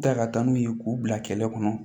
Da ka taa n'u ye k'u bila kɛlɛ kɔnɔ